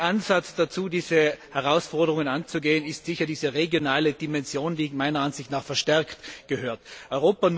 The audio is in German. Ein Ansatz dazu, diese Herausforderungen anzugehen, ist sicher die regionale Dimension, die meiner Ansicht nach verstärkt werden muss.